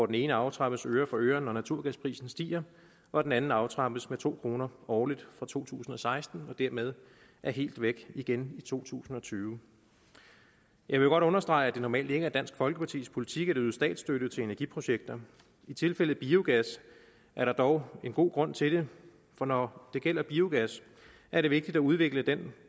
den ene aftrappes øre for øre når naturgasprisen stiger og den anden aftrappes med to kroner årligt fra to tusind og seksten og dermed er helt væk igen i to tusind og tyve jeg vil godt understrege at det normalt ikke er dansk folkepartis politik at yde statsstøtte til energiprojekter i tilfældet biogas er der dog en god grund til det for når det gælder biogas er det vigtigt at udvikle denne